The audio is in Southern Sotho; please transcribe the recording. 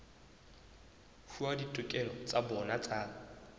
fuwa ditokelo tsa bona tsa